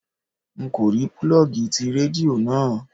N kò rí púlọ́ọ́gì ti Rédíò náà.